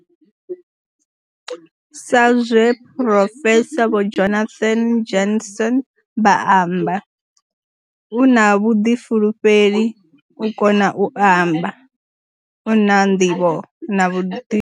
Sa zwe phurofesa vho Jonathan Jansen vha amba. U na vhuḓifulufheli, u kona u amba, u na nḓivho na vhuḓi.